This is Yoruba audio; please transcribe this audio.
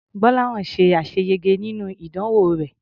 Gbọ́láhàn ṣe àṣeyege nínú ìdánwò rẹ̀.